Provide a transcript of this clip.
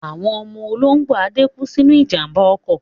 Àwọn ọmọ olóńgbò Ade kú sínú ìjàmbá ọkọ̀.